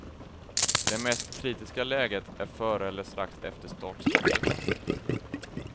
Det mest kritiska läget är före eller strax efter startskottet.